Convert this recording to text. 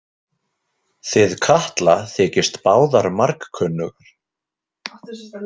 Þið Katla þykist báðar margkunnugar.